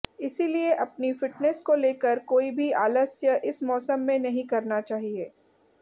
इसलिए अपनी फिटनेस को लेकर कोई भी आलस्य इस मौसम में नहीं करना चाहिए